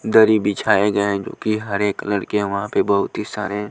दरी बिछाए गए हैं जो कि हरे कलर के वहां पे बहुत ही सारे--